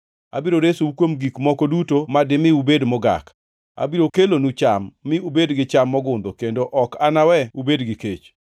Abiro resou kuom gik moko duto ma dimi ubed mogak. Abiro kelonu cham mi ubed gi cham mogundho kendo ok anawe ubed gi kech.